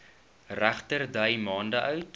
regterdy maande oud